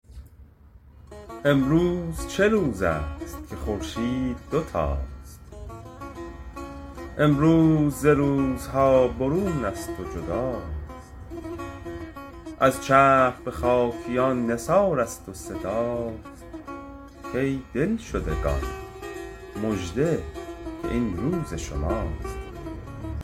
امروز چه روز است که خورشید دوتاست امروز ز روزها برونست و جداست از چرخ بخاکیان نثار است و صداست کای دلشدگان مژده که این روز شماست